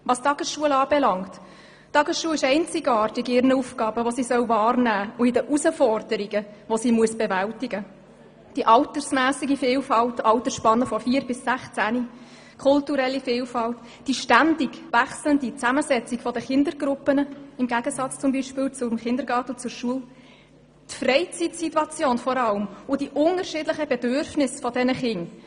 Die Tagesschule ist einzigartig bezüglich ihren Aufgaben und Herausforderungen: die Vielfalt in der Altersspanne von 4- bis 16-Jährigen, die kulturelle Vielfalt, die ständig wechselnde Zusammensetzung der Kindergruppen im Gegensatz zum Kindergarten und zur Schule, die Mittagssituation, die Hausaufgabenbetreuung, die Freizeitsituation und die unterschiedlichen Bedürfnisse dieser Kinder.